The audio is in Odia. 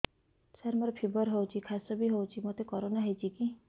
ସାର ମୋର ଫିବର ହଉଚି ଖାସ ବି ହଉଚି ମୋତେ କରୋନା ହେଇଚି କି